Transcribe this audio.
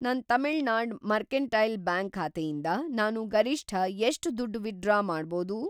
ನನ್‌ Tamil Nadu mercantile bank ಖಾತೆಯಿಂದ ನಾನು ಗರಿಷ್ಠ ಎಷ್ಟ್‌ ದುಡ್ಡು ವಿತ್‌ಡ್ರಾ ಮಾಡ್ಬೋದು?